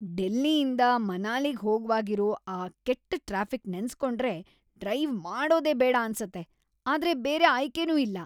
ಡೆಲ್ಲಿಯಿಂದ ಮನಾಲಿಗ್‌ ಹೋಗ್ವಾಗಿರೋ ಆ ಕೆಟ್ಟ್ ಟ್ರಾಫಿಕ್‌ ನೆನ್ಸ್‌ಕೊಂಡ್ರೆ ಡ್ರೈವ್‌ ಮಾಡೋದೇ ಬೇಡ ಅನ್ಸತ್ತೆ, ಆದ್ರೆ ಬೇರೆ ಆಯ್ಕೆನೂ ಇಲ್ಲ.